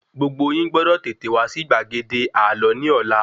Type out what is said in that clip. Gbogbo yín gbọ́dọ̀ tètè wá sí gbàgede àlọ́ ní Ọlá